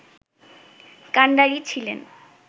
কান্ডারি ছিলেন